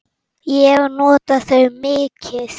Ég nota þau mikið.